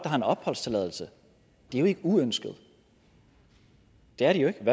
har en opholdstilladelse er jo ikke uønskede det er de jo ikke